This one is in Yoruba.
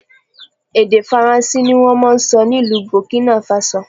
Èdè Faransé ni wọ́n máa ń sọ ní ìlú Burkina Faso